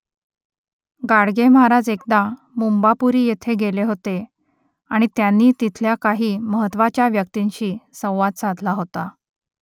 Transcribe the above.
गाडगे महाराज एकदा मुंबापुरी येथे गेले होते आणि त्यांनी तिथल्या काही महत्त्वाच्या व्यक्तींशी संवाद साधला होता